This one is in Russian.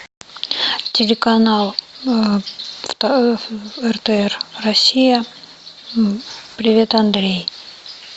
телеканал ртр россия привет андрей